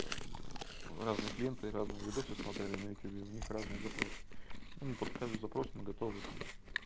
разные клиенты разные видосы смотрели на ютубе и у них разные запрос он под каждый запрос мы готовы там